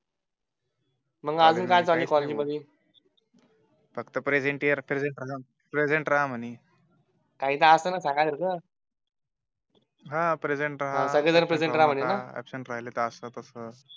मग अजून काय चाललंय कॉलेज मध्ये फक्त प्रेसेंट राहा म्हणे. काहि तर असेल ना सांगाया सारखं राहा अबसेन्ट राहिले तर असं तस